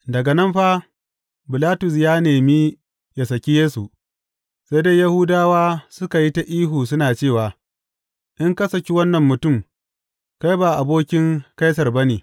Daga nan fa, Bilatus ya yi nemi yă saki Yesu, sai dai Yahudawa suka yi ta ihu suna cewa, In ka saki wannan mutum, kai ba abokin Kaisar ba ne.